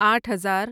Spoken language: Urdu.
آٹھ ہزار